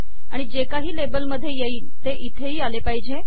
आणि जे काही लेबल मधे येईल ते इथेही आले पाहिजे